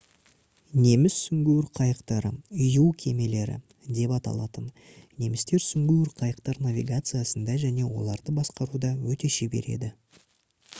неміс сүңгуір қайықтары «u кемелері» деп аталатын. немістер сүңгуір қайықтар навигациясында және оларды басқаруда өте шебер еді